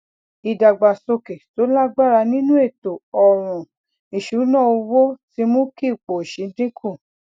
ìdàgbàsókè tó lágbára nínú ètò ọràn ìṣúnná owó ti mú kí ipò òṣì dín kù